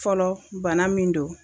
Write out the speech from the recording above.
Fɔlɔ bana min do.